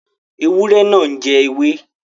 Ewúrẹ́ náà jẹ ewé.